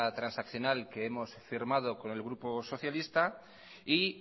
transaccional que hemos firmado con el grupo socialista y